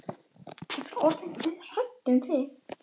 Ég var orðin dauðhrædd um þig,